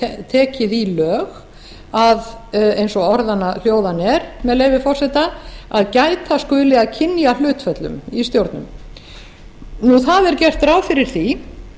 tekið í lög að eins og orðanna hljóðan er með leyfi forseta að gæta skuli að kynjahlutföllum í stjórnum gert er ráð fyrir því